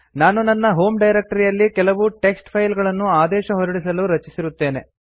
ನಾನು ನನ್ನ home directory ಯಲ್ಲಿ ಕೆಲವು ಟೆಕ್ಸ್ಟ್ ಫೈಲ್ ಗಳನ್ನು ಆದೇಶ ಹೊರಡಿಸಲು ರಚಿಸಿರುತ್ತೇನೆ